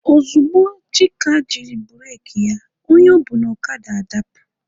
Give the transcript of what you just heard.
Ozugbo Chika jiri bureki ya, onye o bu n'okada adapụ.